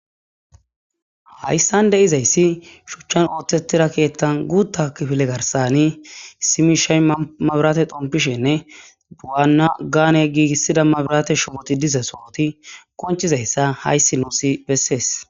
Hayssan deizayssi shuchan oothtetida keththa gutta kifile garssan issi mishshay mabiratte xomopishinnine waana gaane giigisida mabiratte shubboti diiza sohot qonccizayssa hayssi nussi besses.